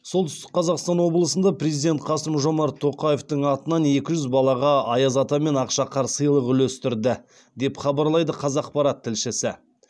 солтүстік қазақстан облысында президент қасым жомарт тоқаевтың атынан екі жүз балаға аяз ата мен ақшақар сыйлық үлестірді деп хабарлайды қазақпарат тілшісі